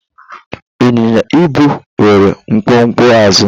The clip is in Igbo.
ịnyịnya -ibu nwere mkpumkpu azụ